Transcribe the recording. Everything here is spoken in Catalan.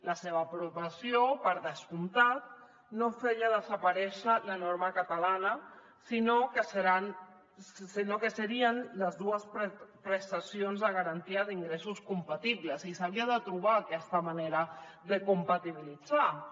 la seva aprovació per descomptat no feia desaparèixer la norma catalana sinó que serien les dues prestacions de garantia d’ingressos compatibles i s’havia de trobar aquesta manera de compatibilitzar ho